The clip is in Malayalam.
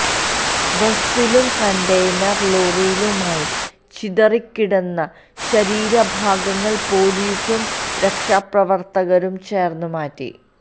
ബസിലും കണ്ടെയ്നര് ലോറിയിലുമായി ചിതറിക്കിടന്ന ശരീര ഭാഗങ്ങള് പോലിസും രക്ഷാപ്രവര്ത്തകരും ചേര്ന്ന് മാറ്റി